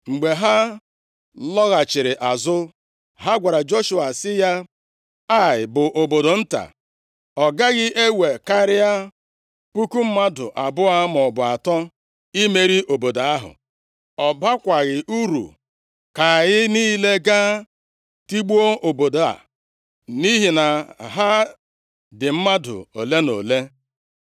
Mgbe ha lọghachiri azụ, ha gwara Joshua sị ya, “Ai bụ obodo nta. Ọ gaghị ewe karịa puku mmadụ abụọ maọbụ atọ imeri obodo ahụ. Ọ bakwaghị uru ka anyị niile gaa tigbuo obodo a, nʼihi na ha dị mmadụ ole na ole.”